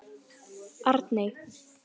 Arney